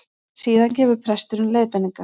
Síðan gefur presturinn leiðbeiningar